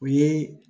U ye